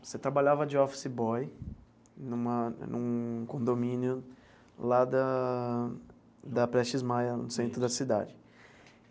Você trabalhava de office boy numa num condomínio lá da da Prestes Maia, no centro da cidade.